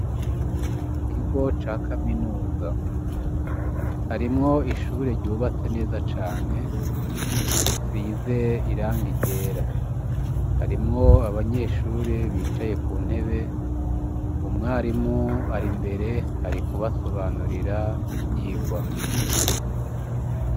Mukigo ca kaminuza harimwo ishure ryubatse neza cane risize irangi ryera harimwo abanyeshure bicaye kuntebe umwarimu ari imbere ari kubasobanurira ivyigwa.